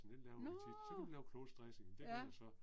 Nåh. Ja